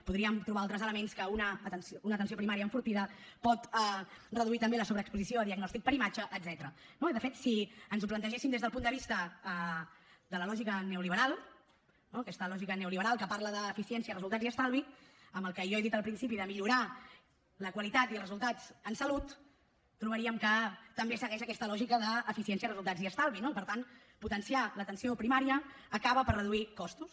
podríem trobar altres elements que una atenció primària enfortida pot reduir també la sobreexposició a diagnòstic per imatge etcètera no i de fet si ens ho plantegéssim des del punt de vista de la lògica neoliberal no aquesta lògica neoliberal que parla d’eficiència resultats i estalvi amb el que jo he dit al principi de millorar la qualitat i els resultats en salut trobaríem que també segueix aquesta lògica d’eficiència resultats i estalvi i per tant potenciar l’atenció primària acaba per reduir costos